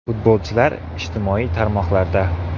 Futbolchilar ijtimoiy tarmoqlarda .